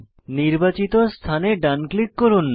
নির্বাচিত স্থানে ডান ক্লিক করুন